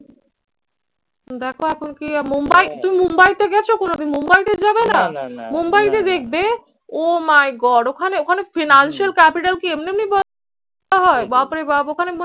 দেখো এখন কি মুম্বাই তুমি মুম্বাইতে গেছো কোনদিন? মুম্বাইতে যাবে না মুম্বাইতে দেখবে oh my god ওখানে ওখানে financial capital কি এমনি এমনি হয় বাপরে বাপ ওখানে